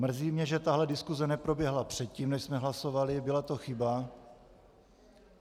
Mrzí mě, že tahle diskuze neproběhla předtím, než jsme hlasovali, byla to chyba.